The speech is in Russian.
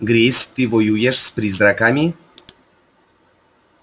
грейс ты воюешь с призраками